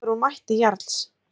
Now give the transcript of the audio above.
Dregur úr mætti Jarls